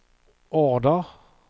order